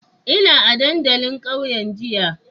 Ina a dandalin kauyen jiya.